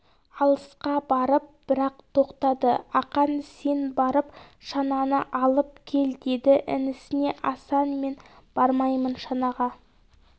алысқа барып бір-ақ тоқтады ақан сен барып шананы алып кел деді інісіне асан мен бармаймын шанаға